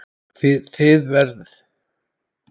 Þið verð